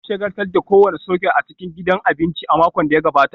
An shagaltar da kowane soket a cikin gidan abinci a makon da ya gabata